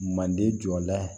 Manden jɔ la